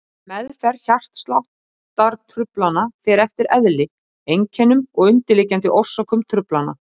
Meðferð hjartsláttartruflana fer eftir eðli, einkennum og undirliggjandi orsökum truflana.